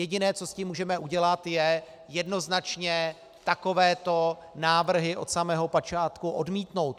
Jediné, co s tím můžeme udělat, je jednoznačně takovéto návrhy od samého počátku odmítnout.